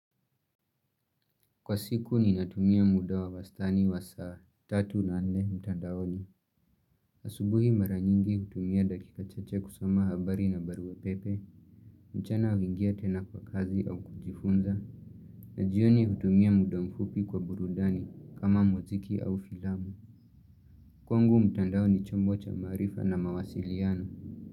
Kwa siku ni natumia muda wa wastani wa saa 3 na 4 mtandaoni. Asubuhi maranyingi hutumia dakika chache kusama habari na barua pepe, mchana huingia tena kwa kazi au kujifunza. Najioni hutumia muda mfupi kwa burudani kama muziki au filamu. Kwangu mtandaoni chombo cha maarifa na mawasiliano.